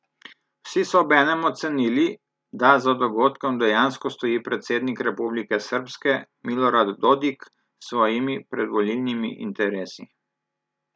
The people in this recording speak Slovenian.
Vsi so obenem ocenili, da za dogodkom dejansko stoji predsednik Republike srbske Milorad Dodik s svojimi predvolilnimi interesi.